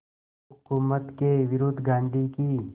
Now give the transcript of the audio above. हुकूमत के विरुद्ध गांधी की